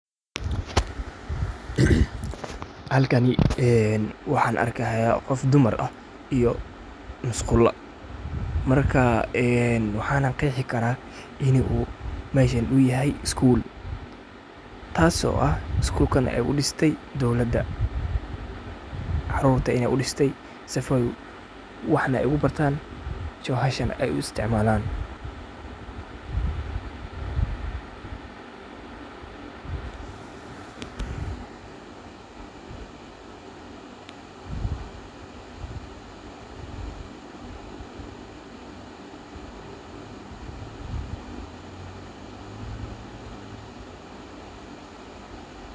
Halkani een waxaa arkayaa qof dumar ah iyo musqula markaa waxan qexi karaa in uu meshan yahay school taas oo ah schoolka ey udiste dowlada carurta ey udiste sifo ey wax ogu bartaan joohashana ey u isticmalaan.